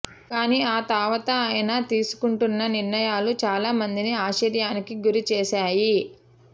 కానీ ఆ తావతా ఆయన తీసుకుంటున్న నిర్ణయాలు చాలామందిని ఆశ్చర్యానికి గురిచేశాయి